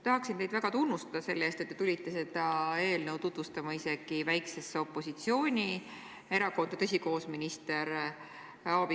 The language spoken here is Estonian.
Tahan teid väga tunnustada selle eest, et te tulite seda eelnõu tutvustama isegi väiksesse opositsioonierakonda – tõsi, koos minister Aabiga!